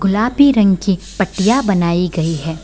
गुलाबी रंग की पट्टियां बनायी गयी है |